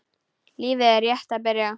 Lífið er rétt að byrja.